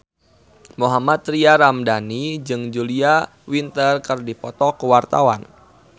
Mohammad Tria Ramadhani jeung Julia Winter keur dipoto ku wartawan